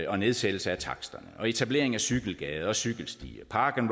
og nedsættelse af taksterne og etablering af cykelgader cykelstier park and